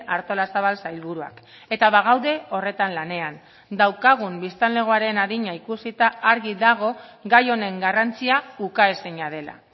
artolazabal sailburuak eta bagaude horretan lanean daukagun biztanlegoaren adina ikusita argi dago gai honen garrantzia ukaezina dela